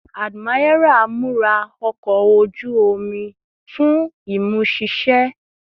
Admiral, mura ọkọ oju-omi ọkọ oju omi fun imuṣiṣẹ